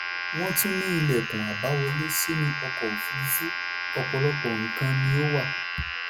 wọ́n tún ní ìlẹ̀kùn àbáwọlé sínú ọkọ̀ òfurufú: ọ̀pọ̀lọpọ̀ nǹkan ni ó wà.